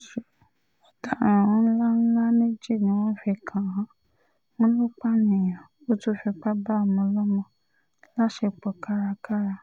ẹ̀sùn ọ̀daràn ńlá ńlá méjì ni wọ́n fi kàn án wọ́n lọ pààyàn ó tún fipá bá ọmọọlọ́mọ láṣepọ̀ kárakára